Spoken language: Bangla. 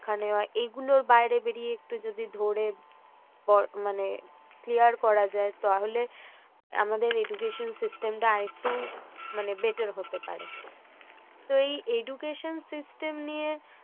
নেওয়া এইগুলোর বাইরে বেরিয়ে একটু যদি ধরে ধরে মানে clear করা যায়, তাহলে আমাদের education system আর একটু better হতে পারে। তো এই education system নিয়ে